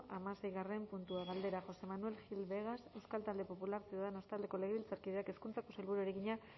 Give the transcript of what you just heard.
hamaseigarren puntua galdera josé manuel gil vegas euskal talde popularra ciudadanos taldeko legebiltzarkideak hezkuntzako sailburuari egina